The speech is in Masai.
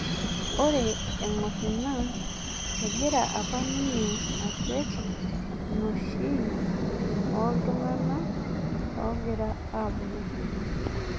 Ore eng'or ina egira apa ninye akwet inoshi olntung'ana ogira aabulu